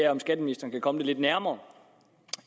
om skatteministeren kan komme det lidt nærmere